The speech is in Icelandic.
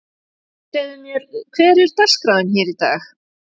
Segðu mér, hver er dagskráin hér í dag?